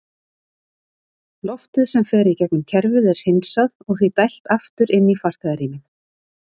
Loftið sem fer í gegnum kerfið er hreinsað og því dælt aftur inn í farþegarýmið.